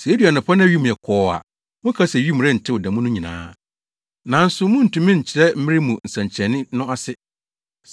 Sɛ edu anɔpa na wim yɛ kɔɔ a, moka se wim rentew da mu no nyinaa. Nanso muntumi nkyerɛ mmere mu nsɛnkyerɛnne no ase.